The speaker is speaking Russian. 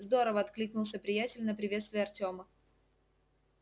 здорово откликнулся приятель на приветствие артёма